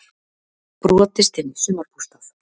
Brotist inn í sumarbústað